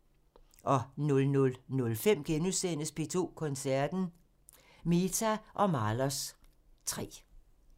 00:05: P2 Koncerten – Mehta & Mahlers 3 *